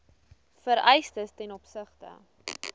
vereistes ten opsigte